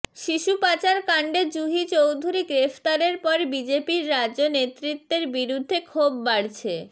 শিশু পাচার কাণ্ডে জুহি চৌধুরী গ্রেফতারের পর বিজেপির রাজ্য নেতৃত্বের বিরুদ্ধে ক্ষোভ বাড়ছে